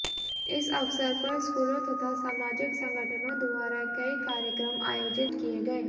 इस अवसर पर स्कूलों तथा सामाजिक संगठनों द्वारा कई कार्यक्रम आयोजित किए गए